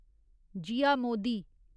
Jiya Modi